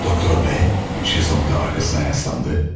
Doktor B. şezlonqda arkasına yaslandı.